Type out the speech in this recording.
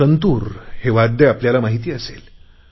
संतुरवाद्याची आपल्याला माहिती असेल